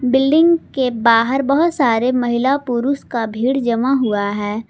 Building के बाहर बहोत सारे महिला पुरुष का भीड़ जमा हुआ है।